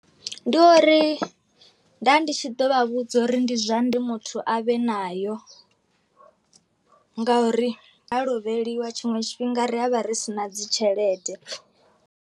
Ndi uri nda ndi tshi ḓo vha vhudza uri ndi zwa ndi muthu a vhe nayo nga uri ha lovheliwa tshiṅwe tshifhinga ri avha ri si na dzi tshelede.